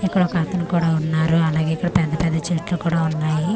ఇక్కడ ఒక అతను కూడా ఉన్నారు అలాగే ఇక్కడ పెద్ద పెద్ద చెట్లు కూడా ఉన్నాయి .]